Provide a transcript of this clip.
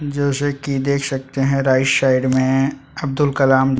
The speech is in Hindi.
जैसे की देख सकते है राईट साइड में अब्दुल कलाम --